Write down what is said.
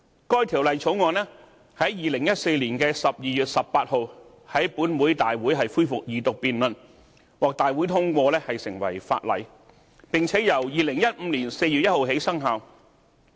該《條例草案》在2014年12月18日於本會大會恢復二讀辯論，並獲大會通過成為法例，並且由2015年4月1日起生效。